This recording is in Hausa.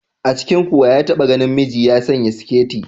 A cikinku wa ya taɓa ganin namiji ya sanya siketi?